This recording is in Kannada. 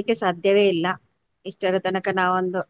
ಮರಿಲಿಕ್ಕೆ ಸಾಧ್ಯವೇ ಇಲ್ಲ. ಇಷ್ಟರತನಕ ನಾವು ಒಂದು